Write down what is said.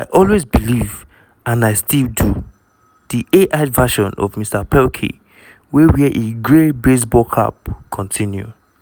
i always believe and i still do" di ai verison of mr pelkey - wey wear a grey baseball cap - continue.